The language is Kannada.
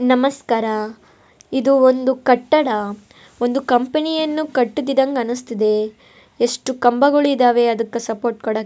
ನಮಸ್ಕಾರ ಇದು ಒಂದು ಕಟ್ಟಡ ಒಂದು ಕಂಪನಿಯನ್ನು ಕಟ್ಟುತ್ತಿದ್ದಂಗ್ ಅನ್ನಿಸ್ತಿದೆ ಎಷ್ಟು ಕಂಬಗಳಿದಾವೆ ಅದಕ್ಕ್ ಸಪೋರ್ಟ್ ಕೊಡಾಕೆ.